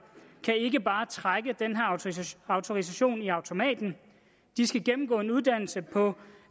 kan ikke bare trække den her autorisation i automaten de skal gennemgå en uddannelse på